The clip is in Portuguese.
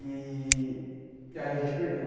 E e aí a gente perdeu.